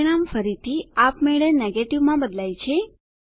પરિણામ ફરીથી આપમેળે નેગેટિવ માં બદલાય છે